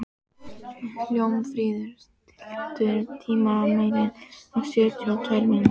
Hólmfríður, stilltu tímamælinn á sjötíu og tvær mínútur.